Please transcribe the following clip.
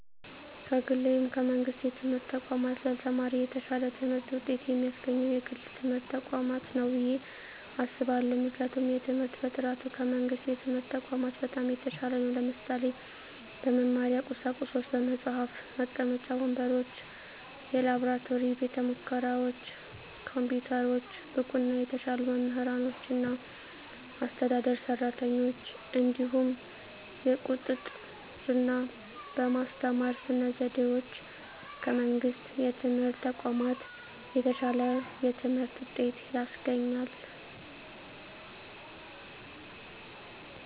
ከግል ወይም ከመንግሥት የትምህርት ተቋማት ለተማሪ የተሻለ ትምህርት ውጤት የሚያስገኘው የግል ትምህርት ተቋማት ነው ብየ አስባለሁ ምክንያቱም የትምህርት በጥራቱ ከመንግስት የትምህርት ተቋማት በጣም የተሻለ ነው ለምሳሌ - በመማሪያ ቁሳቁሶች በመፅሀፍ፣ መቀመጫ ወንበሮች፣ የላብራቶሪ ቤተሙከራዎች፣ ኮምፒውተሮች፣ ብቁና የተሻሉ መምህራኖችና አስተዳደር ሰራተኞች፣ እንዲሁም የቁጥጥ ርና በማስተማር ስነ ዘዴዎች ከመንግስት የትምህርት ተቋማት የተሻለ የትምህርት ውጤት ያስገኛል።